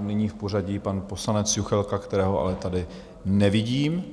nyní v pořadí pan poslanec Juchelka, kterého ale tady nevidím.